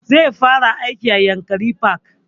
Zai fara aiki a yankari park